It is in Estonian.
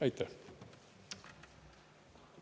Aitäh!